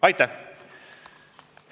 Aitäh!